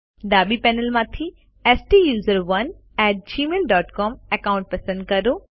ડાબી પેનલમાંથી STUSERONEgmail dot C O M account પસંદ કરો